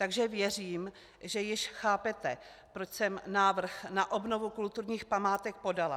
Takže věřím, že již chápete, proč jsem návrh na obnovu kulturních památek podala.